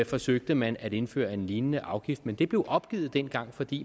forsøgte man at indføre en lignende afgift men det blev opgivet dengang fordi